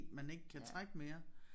Man ikke kan trække mere